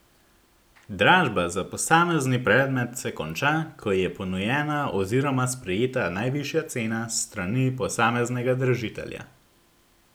Dražba za posamezni predmet se konča, ko je ponujena oziroma sprejeta najvišja cena s strani posameznega dražitelja.